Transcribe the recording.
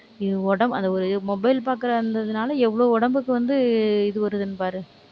இது உடம்~ அந்த ஒரு mobile பார்க்கிறதா இருந்ததுனால எவ்வளவு உடம்புக்கு வந்து இது வருதுன்னு பாரு